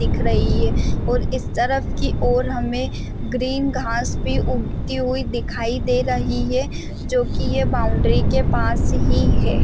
दिख रही है और इस तरफ की ओर हमें ग्रीन घास उगती हुई दिखाई दे रही है जोकि ये बाउंड्री के पास ही है।